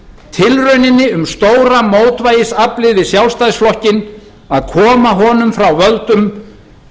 tilrauninni um stóra mótvægisaflið við sjálfstæðisflokkinn að koma honum frá völdum